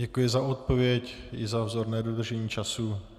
Děkuji za odpověď i za vzorné dodržení času.